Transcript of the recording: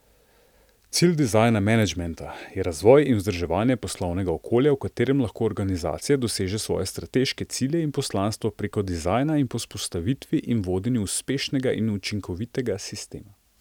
Cilj dizajn menedžmenta je razvoj in vzdrževanje poslovnega okolja, v katerem lahko organizacija doseže svoje strateške cilje in poslanstvo preko dizajna in po vzpostavitvi in vodenju uspešnega in učinkovitega sistema.